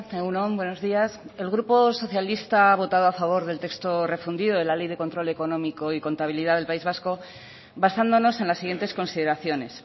egun on buenos días el grupo socialista ha votado a favor del texto refundido de la ley de control económico y contabilidad del país vasco basándonos en las siguientes consideraciones